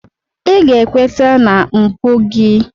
Ị ga-ekweta na mpụ gị!